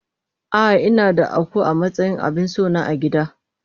Ah ah inada Akuu amatsayin abinsona agida.